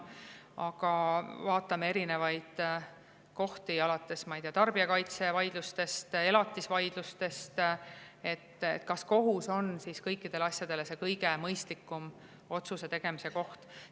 Aga vaatame, ma ei tea, tarbijakaitsevaidlusi, elatisvaidlusi, kas kohus on asjade jaoks see kõige mõistlikum otsuse tegemise koht.